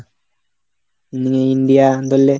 আ India ধরলে